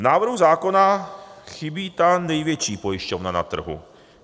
V návrhu zákona chybí ta největší pojišťovna na trhu -